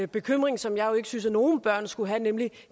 bekymring som jeg jo ikke synes at nogen børn skulle have nemlig